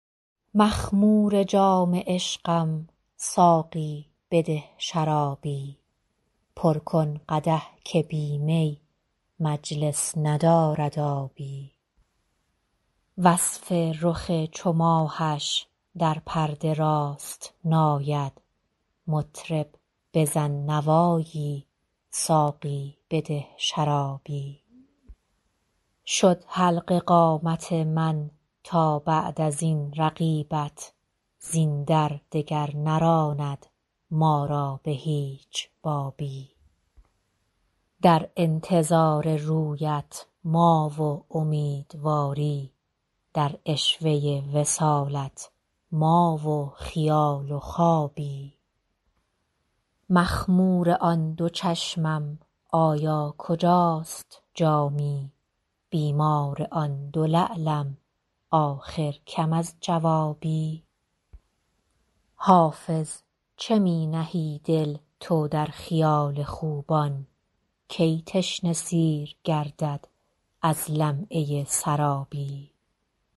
مخمور جام عشقم ساقی بده شرابی پر کن قدح که بی می مجلس ندارد آبی وصف رخ چو ماهش در پرده راست نآید مطرب بزن نوایی ساقی بده شرابی شد حلقه قامت من تا بعد از این رقیبت زین در دگر نراند ما را به هیچ بابی در انتظار رویت ما و امیدواری در عشوه وصالت ما و خیال و خوابی مخمور آن دو چشمم آیا کجاست جامی بیمار آن دو لعلم آخر کم از جوابی حافظ چه می نهی دل تو در خیال خوبان کی تشنه سیر گردد از لمعه سرابی